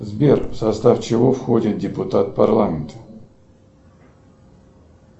сбер в состав чего входит депутат парламент